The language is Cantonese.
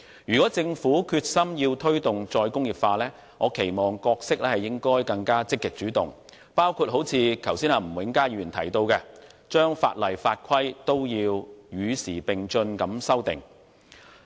如果政府決心推動"再工業化"，我期望其角色應更積極主動，包括如吳永嘉議員剛才所提到，將法例和法規與時並進地修訂。